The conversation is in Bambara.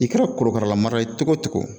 I kɛra korokara marala ye cogo o cogo